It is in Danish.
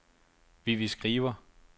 Vivi Skriver